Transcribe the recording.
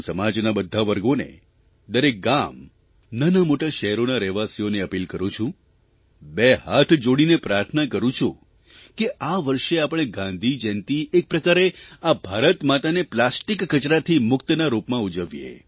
હું સમાજના બધા વર્ગોને દરેક ગામ નાનામોટા શહેરોના રહેવાસીઓને અપીલ કરૂં છું બે હાથ જોડીને પ્રાર્થના કરૂં છું કે આ વર્ષે આપણે ગાંધી જયંતિ એક પ્રકારે આ ભારત માતાને પ્લાસ્ટિક કચરાથી મુક્તિના રૂપમાં ઉજવીએ